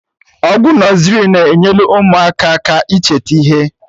Egwu nọzrị na-enyelụ ụmụaka aka ịcheta ihe